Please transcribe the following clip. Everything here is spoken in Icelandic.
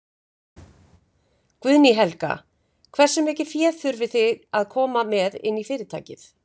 Guðný Helga: Hversu mikið fé þurfið þið að koma með inn í fyrirtækið?